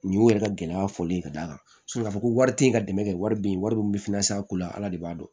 Nin y'u yɛrɛ ka gɛlɛya fɔlen ye ka d'a kan k'a fɔ ko wari te ye ka dɛmɛ kɛ wari be ye wari min be fina a ko la ala de b'a dɔn